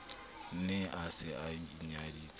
ne a se a inyadisitse